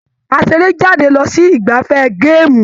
A seré jáde lọ sí igbafẹ̀ gaamu.